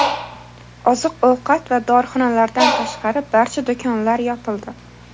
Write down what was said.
Oziq-ovqat va dorixonalardan tashqari barcha do‘konlar yopildi.